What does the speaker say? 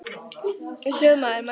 Hróðmar, hefur þú prófað nýja leikinn?